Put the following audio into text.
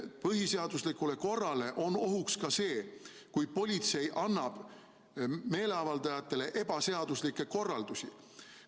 Põhiseaduslikule korrale on ohuks ka see, kui politsei annab meeleavaldajatele ebaseaduslikke korraldusi.